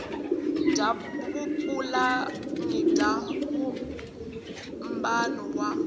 bya vupulani bya vumbano wa